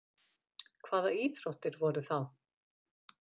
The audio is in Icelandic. Hvaða íþróttir voru þá?